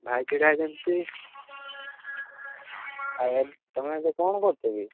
ଭାଇ ଛିଡା ହେଇଛନ୍ତି, ତମେ ଏବେ କଣ କରୁଛ କି?